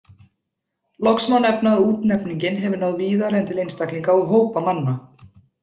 Loks má nefna að útnefningin hefur náð víðar en til einstaklinga og hópa manna.